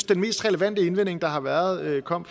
den mest relevante indvending der har været kom